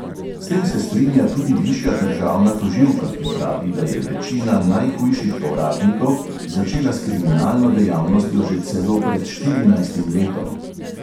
S tem se strinja tudi višja državna tožilka, ki pravi, da je večina najhujših povratnikov začela s kriminalno dejavnostjo že celo pred štirinajstim letom.